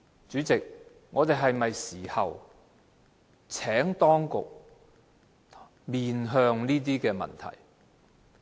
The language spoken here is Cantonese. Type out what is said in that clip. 主席，在這時候，我們是否要請當局面向問題呢？